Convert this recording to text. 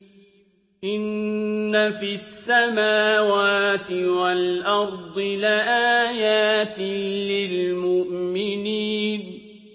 إِنَّ فِي السَّمَاوَاتِ وَالْأَرْضِ لَآيَاتٍ لِّلْمُؤْمِنِينَ